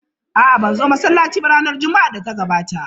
A'a, ban zo masallaci ba ranar Juma'ar da ta gabata.